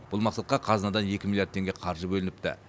бұл мақсатқа қазынадан екі миллиард теңге қаржы бөлініпті